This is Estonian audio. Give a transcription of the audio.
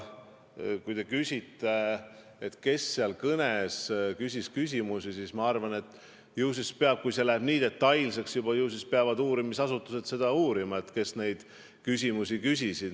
Kui te küsite, kes selle kõne ajal küsimusi esitas, siis ma arvan, et kui see uurimine läheb juba nii detailseks, siis ehk peavad uurimisasutused uurima, kes neid küsimusi küsis.